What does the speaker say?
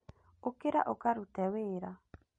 ũkĩra ũkarute wĩra